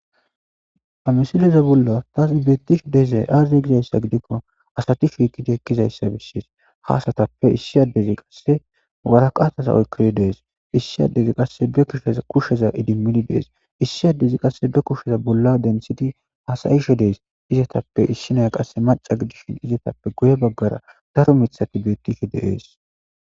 Ha misileza bolla thasi beththihi dizay aazee gizayssa gidikko asathi shiiqidi ekkizayssa beesses; ha asathappe issi addezi qasse waraqathaza oykkidi de7ees; issi addezi qasse be shqushsheza idimmidi de7ees; issi addezi qasse be kushsheza bolla deniththidi hasayishe de7ees; izathappe issi nayiaya qasse macca gidishin izetappe guye baggara daro miththathi beeththishe de7ees.